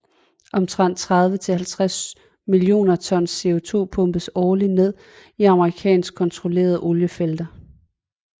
Omtrent 30 til 50 millioner tons CO2 pumpes årligt ned i amerikansk kontrollerede oliefelter